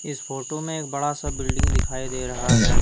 इस फोटो में एक बड़ा सा बिल्डिंग दिखाई दे रहा है।